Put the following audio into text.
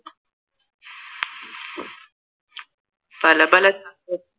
പല പല